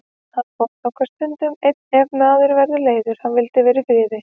Hann fór þangað stundum einn ef hann var leiður og vildi vera í friði.